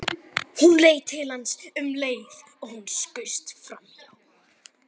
Hún leit til hans um leið og hann skaust framhjá.